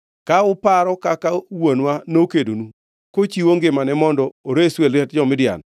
ka uparo kaka wuonwa nokedonu, kochiwo ngimane mondo oresu e lwet jo-Midian;